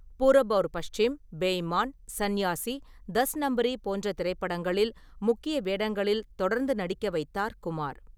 பூரப் அவுர் பாஸ்சிம், பெ இமான், சன்யாசி, டஸ் நம்ப்ரி போன்ற திரைப்படங்களில் முக்கிய வேடங்களில் தொடர்ந்து நடிக்க வைத்தார் குமார்.